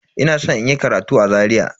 Ina san inyi karatu a Zaria.